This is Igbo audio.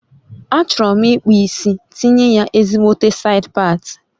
A chọrọ m ikpụ isi tinye ya ezigbote said pati